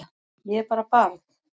Ég er bara barn.